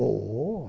Oh!